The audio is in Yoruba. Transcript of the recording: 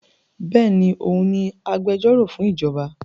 Béèni, òun ni agbẹjọ́rò fún ìjọba